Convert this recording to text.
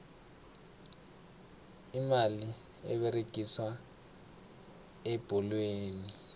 imali eberegiswa ebholweni